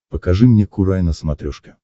покажи мне курай на смотрешке